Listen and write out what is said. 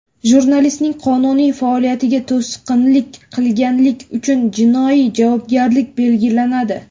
Jurnalistning qonuniy faoliyatiga to‘sqinlik qilganlik uchun jinoiy javobgarlik belgilanadi.